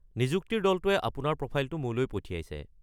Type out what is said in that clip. নিযুক্তিৰ দলটোৱে আপোনাৰ প্ৰফাইলটো মোলৈ পঠিয়াইছে।